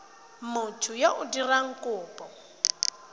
motho yo o dirang kopo